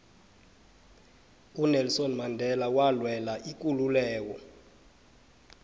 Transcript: unelson mandela walwela ikululeko